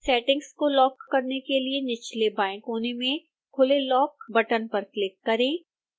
settings को lock करने के लिए निचले बाएं कोने में खुले लॉक बटन पर क्लिक करें